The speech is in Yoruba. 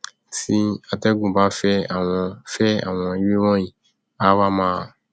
tí atẹgùn bá fẹ àwọn fẹ àwọn ewé wọnyí á wá máa